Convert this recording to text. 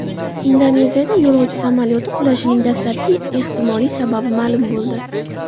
Indoneziyada yo‘lovchi samolyoti qulashining dastlabki ehtimoliy sababi ma’lum bo‘ldi.